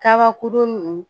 Kabakurun ninnu